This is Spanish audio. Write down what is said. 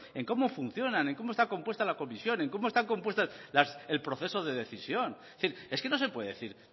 en cómo funcionan en cómo está compuesta la comisión en cómo están compuestas el proceso de decisión es decir es que no se puede decir